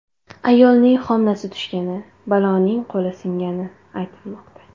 Ayolning homilasi tushgani, bolaning qo‘li singani aytilmoqda.